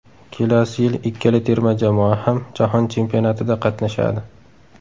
Kelasi yil ikkala terma jamoa ham jahon chempionatida qatnashadi.